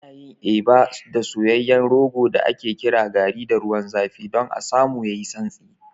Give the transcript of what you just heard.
Ana yin Eba da soyayyen rogo da ake kira garri da ruwan zafi don a samu yayi santsi.